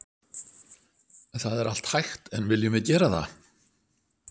Það er allt hægt en viljum við gera það?